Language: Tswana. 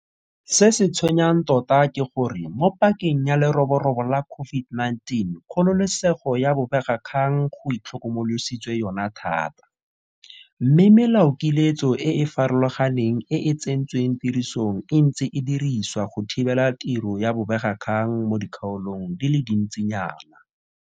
Se se tshwenyang tota ke gore mo pakeng ya leroborobo la COVID-19 kgololesego ya bobegakgang go itlhokomolositswe yona thata, mme melaokiletso e e farologaneng e e tsentsweng tirisong e ntse e dirisiwa go thibela tiro ya bobegakgang mo dikgaolong di le dintsi nyana.